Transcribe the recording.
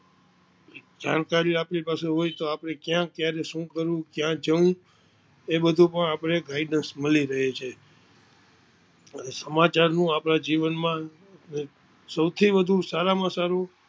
જાણકારી આપની પાસે હોય તો આપપને કયા ક્યારે શું કરવું કયા જવું એ બધુ પણ આપણે guidance મળી રહે છે અને સમાચાર નું આપના જીવન માં સૌથી વધુ સારામાં સારું